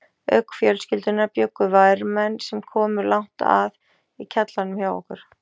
Auk fjölskyldunnar bjuggu vermenn, sem komu langt að, í kjallaranum hjá okkur.